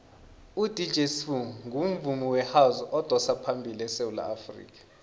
udj sbu ungumvumi wehouse odosaphambili esewula afrikha